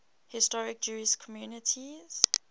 historic jewish communities